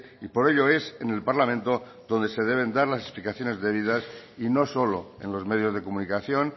y por ello es en el parlamento donde se deben dar las explicaciones debidas y no solo en los medios de comunicación